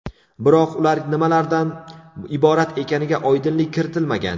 Biroq ular nimalardan iborat ekaniga oydinlik kiritilmagan.